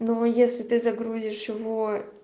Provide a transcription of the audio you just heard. но если ты загрузишь его